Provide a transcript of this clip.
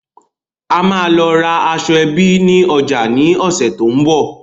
A máa lọ ra aṣọẹbí ni ọjà ni ọ̀sẹ̀ tòun bọ̀.